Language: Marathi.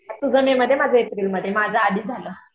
तुझं मेमध्ये माझं एप्रिलमध्ये माझं आधी झालं.